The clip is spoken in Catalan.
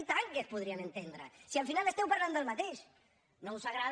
i tant que es podrien entendre si al final esteu parlant del mateix no us agrada